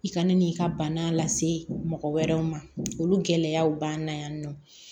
I kana n'i ka bana lase mɔgɔ wɛrɛw ma olu gɛlɛyaw b'an na yan nɔ